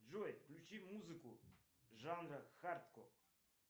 джой включи музыку жанра хардкор